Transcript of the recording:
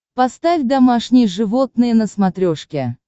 поставь домашние животные на смотрешке